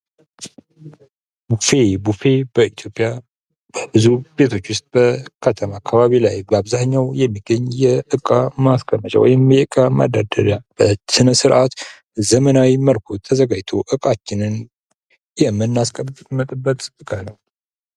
ቡፌ:-ቡፌ በኢትዮጵያ በብዙ ቤቶች ወስጥ በከተማ አካባቢ ላይ በአብዛኛው የሚገኝ የእቃ ማስቀመጫ ወይም የእቃ መደርደሪያ በስነ-ስርዓት በዘመናዊ መልኩ ተዘጋጅቶ እቃችንን የምናስቀምጥበት